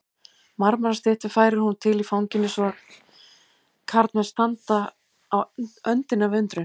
Marmarastyttur færir hún til í fanginu svo að karlmenn standa á öndinni af undrun.